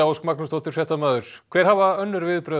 Ósk Magnúsdóttir fréttamaður hver hafa önnur viðbrögð